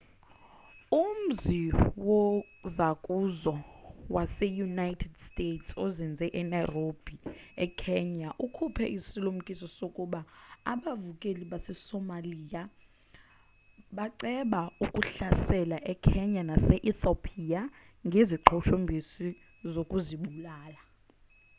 umzi wozakuzo wase-united states ozinze enairobi ekenya ukhuphe isilumkiso sokuba abavukeli basesomalia baceba ukuhlasela ekenya nase-ethopia ngeziqhushumbisi zokuzibulala